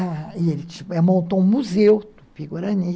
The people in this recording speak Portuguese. E ele montou um museu, Tupi-Gurani.